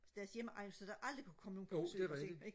deres hjemegn så der aldrig kunne komme nogen på besøg og se en ikke